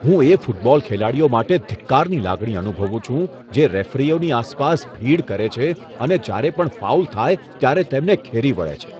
હું એ ફૂટબોલ ખેલાડીઓ માટે ધિક્કારની લાગણી અનુભવું છું, જે રેફરીઓની આસપાસ ભીડ કરે છે અને જ્યારે પણ ફાઉલ થાય ત્યારે તેમને ઘેરી વળે છે.